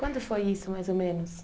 Quando foi isso, mais ou menos?